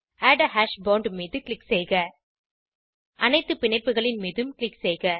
add a hash bond மீது click செய்க அனைத்து பிணைப்புகளின் மீதும் க்ளிக் செய்க